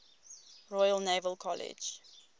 royal naval college